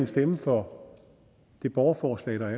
stemme for det borgerforslag der